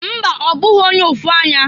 Mba! Ọ bụghị onye ụfụ anya.